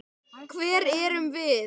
Hver erum við?